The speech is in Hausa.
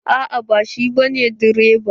A'a ba shi ba ne direba.